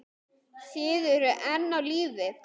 Þið eruð enn á lífi!